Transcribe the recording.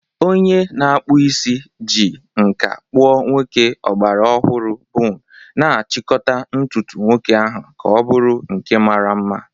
Onye na-akpụ isi ji nkà kpụọ nwoke ọgbara ọhụrụ bun, na-achịkọta ntutu nwoke ahụ ka ọ bụrụ nke mara mma.